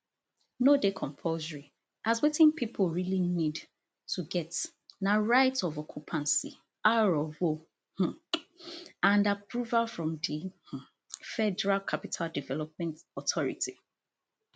no dey compulsory as wetin pipo really need to get na right of occupancy r of o um and approval from di um federal capital development authority